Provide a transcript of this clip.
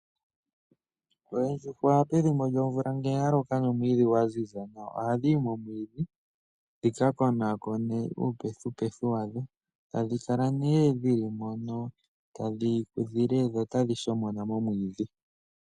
Oondjuhwa pethimbo lyomvula ngele ya loka nomwiidhi gwa ziza nawa ohadhi yi momwiidhi dhi ka konaakone uupethipethi wadho tadhi kala ihe dhi li moka tadhi kongo dho otadhi shomona momwiidhi.